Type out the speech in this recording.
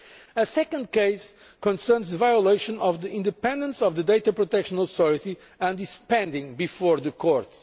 A second case concerns the violation of the independence of the data protection authority and is pending before the court.